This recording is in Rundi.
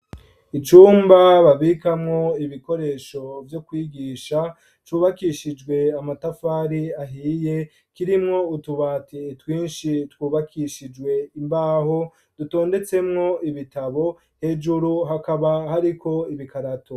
icumba babikamwo ibikoresho vyo kwigisha , cubakishijwe amatafari ahiye , kirimwo utubati twinshi, twubakishijwe imbaho, dutondetsemwo ibitabo hejuru , hakaba hariko ibikarato.